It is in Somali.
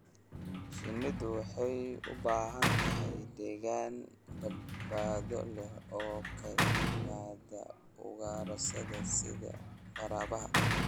Shinnidu waxay u baahan tahay deegaan badbaado leh oo ka yimaada ugaarsada sida waraabaha.